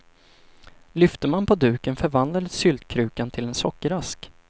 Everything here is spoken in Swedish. Lyfte man på duken förvandlades syltkrukan till en sockerask.